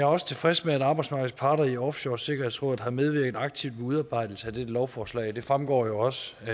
også tilfreds med at arbejdsmarkedets parter i offshoresikkerhedsrådet har medvirket aktivt ved udarbejdelsen af dette lovforslag og det fremgår jo også af